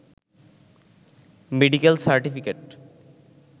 medical certificate